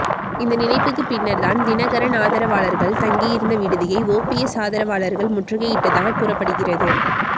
இந்த நினைப்புக்கு பின்னர்தான் தினகரன் ஆதரவாளர்கள் தங்கியிருந்த விடுதியை ஓபிஎஸ் ஆதரவாளர்கள் முற்றுகையிட்டதாக கூறப்படுகிறது